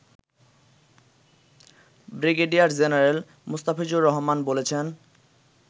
brigadier general Mustafizur Rahman বলেছেন